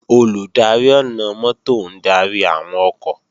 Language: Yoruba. Olùdarí ọ̀nà-mọ́tò ń darí àwọn ọkọ̀